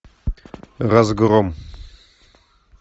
разгром